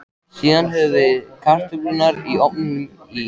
Síðan höfum við kartöflurnar í ofninum í